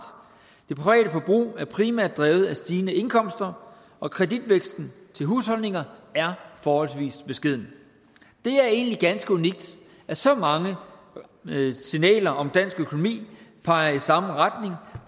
det private forbrug er primært drevet af stigende indkomster og kreditvæksten til husholdninger er forholdsvis beskeden det er egentlig ganske unikt at så mange signaler om dansk økonomi peger i samme retning